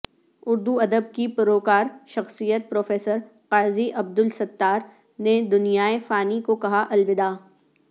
اردو ادب کی پروقار شخصیت پروفیسر قاضی عبدالستار نے دنیائے فانی کو کہا الوداع